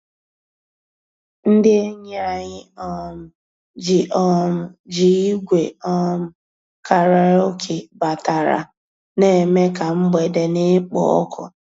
Ndị́ ényí ànyị́ um jì um jì ígwè um kàràókè batàrà, ná-èmè ká mgbedé ná-èkpò ọ́kụ́.